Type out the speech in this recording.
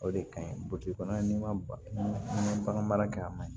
O de kaɲi kɔnɔ ni magara kɛ a man ɲi